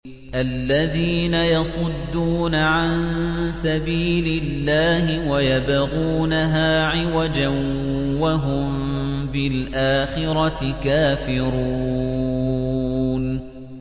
الَّذِينَ يَصُدُّونَ عَن سَبِيلِ اللَّهِ وَيَبْغُونَهَا عِوَجًا وَهُم بِالْآخِرَةِ كَافِرُونَ